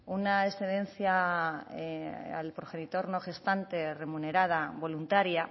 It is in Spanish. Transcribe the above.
una excedencia al progenitor no gestante remunerada voluntaria